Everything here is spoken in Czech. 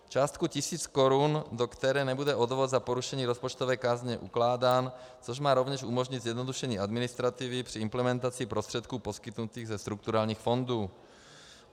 Částku tisíc korun, do které nebude odvod za porušení rozpočtové kázně ukládán, což má rovněž umožnit zjednodušení administrativy při implementaci prostředků poskytnutých ze strukturálních fondů.